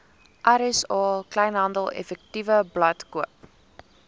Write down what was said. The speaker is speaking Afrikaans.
rsa kleinhandeleffektewebblad koop